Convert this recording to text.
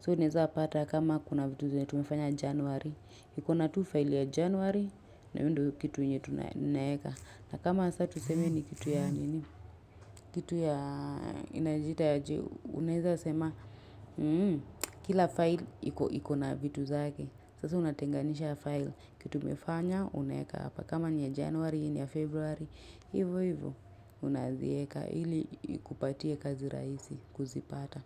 So unaeza pata kama kuna vitu zenye tumefanya januari. Ikona tu file ya januari. Na hio ndio kitu yenya tunaeka. Na kama sasa tuseme ni kitu ya nini. Kitu ya inajiita aje, Unaeza sema Kila file ikona vitu zake. Sasa unatenganisha file. Kitu umefanya unaeka hapa. Kama ni ya januari, ni ya februari. Hivo hivo unazieka ili ikupatie kazi rahisi kuzipata.